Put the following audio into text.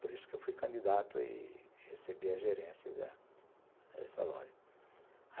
Por isso que eu fui candidato e recebi a gerência da dessa loja.